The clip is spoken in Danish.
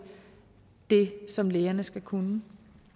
det som lægerne skal kunne